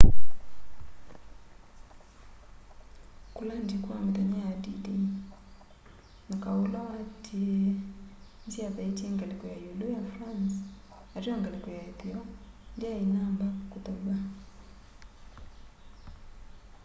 kulandi kwa mithenya ya d-day na kau ula watiie nisyathaitye ngaliko ya iulu ya france ateo ngaliko ya itheo ndyai inamba kuthaw'a